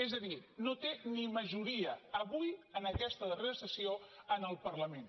és a dir no té ni majoria avui en aquesta darrera sessió en el parlament